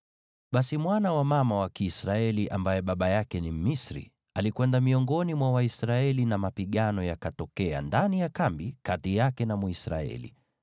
Basi mwana wa mama Mwisraeli na baba Mmisri alikwenda miongoni mwa Waisraeli, nayo mapigano yakatokea ndani ya kambi kati yake na Mwisraeli.